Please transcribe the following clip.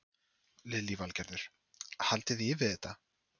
Lillý Valgerður: Haldiði í við þetta?